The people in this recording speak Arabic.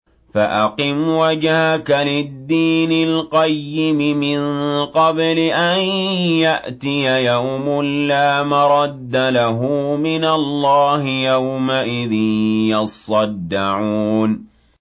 فَأَقِمْ وَجْهَكَ لِلدِّينِ الْقَيِّمِ مِن قَبْلِ أَن يَأْتِيَ يَوْمٌ لَّا مَرَدَّ لَهُ مِنَ اللَّهِ ۖ يَوْمَئِذٍ يَصَّدَّعُونَ